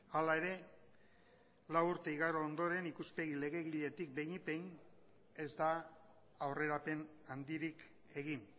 hala ere lau urte igaro ondoren ikuspegi legegiletik behinik behin ez da aurrerapen handirik egin